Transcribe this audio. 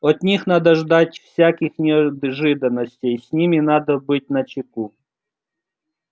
от них надо ждать всяких неожиданностей с ними надо быть начеку